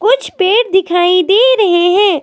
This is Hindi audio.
कुछ पेड़ दिखाई दे रहे है।